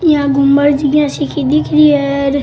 यहाँ गुम्बद सी दिख री है।